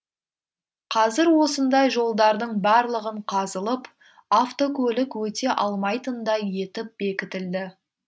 қазір осындай жолдардың барлығын қазылып автокөлік өте алмайтындай етіп бекітілді